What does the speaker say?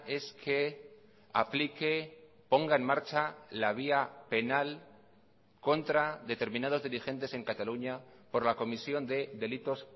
es que aplique ponga en marcha la vía penal contra determinados dirigentes en cataluña por la comisión de delitos